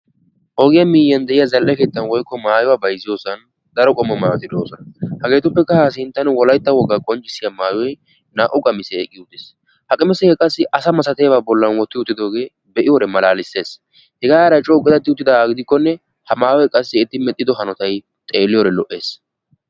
Ogee miyiyan de'iya zal'ee keettan woykko maayuwa bayzziyosan daro qommo maayoti de'osona. Hageetuppeka ha sinttan wolaytta wogaa qonccissiya maayoy naa'u qamisiya oyqqi uttis. Ha qamiseka qassi asa malatiyaba bollan wotti uttidoge malaalises. Hega heeray co qiitati uttidaga gidikone ha maayoy qassi eti medhdhi hanotay xeeliyode lo'ees.